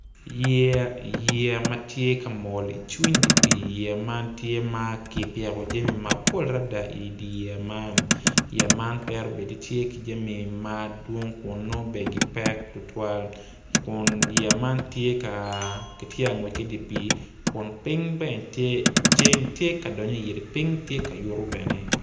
Yeya matye kamol i cwiny dipii yeya man tye ma kipiko jami mapol adada idi yeya man yeya man twero bedo i tye ki jami madwong kun nongo bene gipek tutuwal kun yeya man tye ka- gitye angwec ki dipii kun ping bene tye ceng tye ka donyu i ye ping ka yuto bene.